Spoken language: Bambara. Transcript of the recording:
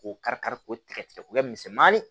K'o kari kari k'o tigɛ tigɛ k'o kɛ misɛmanin